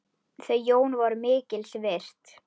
Þau Jón voru mikils virt.